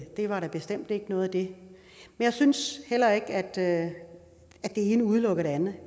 det var der bestemt ikke noget af jeg synes heller ikke at det ene udelukker det andet